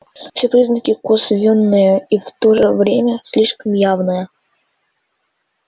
все признаки косвенные и в то же время слишком явные